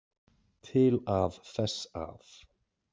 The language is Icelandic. Til að þess að.